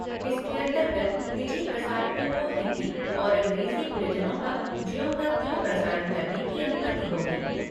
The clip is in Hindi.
इसके अंतर्गत निजी प्रसारकों को हिन्दी और अंग्रेजी बुलेटिनों का ज्यों का त्यों प्रसारण करने की अनुमति होगी।